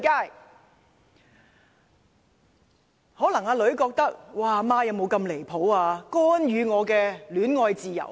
"女兒可能會覺得母親很離譜，干預她的戀愛自由。